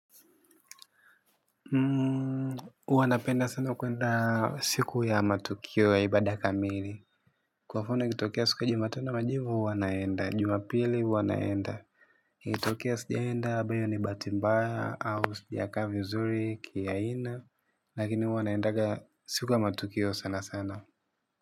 Huwa napenda sana kuenda siku ya matukio ya ibada kamili. Kwa mfano ikitokia siku ya jumatano ya majivu huwa naenda, jumapili huwa naenda. iKitokia sijaenda bado hiyo ni bahati mbaya au sijakaa vizuri kiaina. Lakini huwa naendaga siku ya matukio sana sana.